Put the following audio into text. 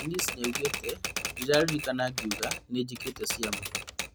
Janice nĩoigĩte "ndĩraririkana akiuga nĩnjĩkĩte ciama"